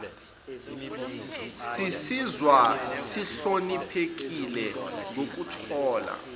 sizizwa sihloniphekile ngokuthola